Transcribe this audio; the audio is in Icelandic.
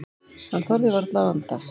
Hann þorði varla að anda.